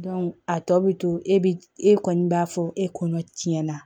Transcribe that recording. a tɔ bi to e bi e kɔni b'a fɔ e kɔɲɔn tiɲɛna